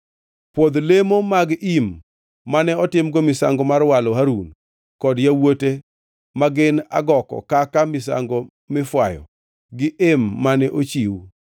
“Pwodh lemo mag im mane otimgo misango mar walo Harun kod yawuote ma gin agoko kaka misango mifwayo gi em mane ochiw.